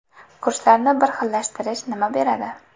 Kurslarni bir xillashtirish nima beradi?